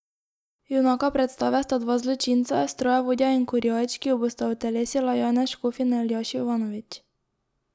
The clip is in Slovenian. Junaka predstave sta dva zločinca, strojevodja in kurjač, ki ju bosta utelesila Janez Škof in Aljaž Jovanović.